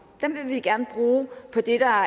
vil vi gerne bruge på det der